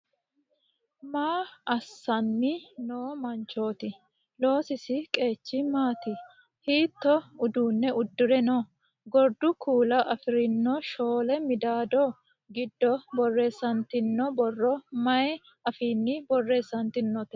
Maa assanni noo manchooti? Loosisi qeechi maati? Hiittoo udunne uddire no? Gordu kuula afi'rinno shooli midaadi giddo borreessantino borro maay afiinni borreessantinote?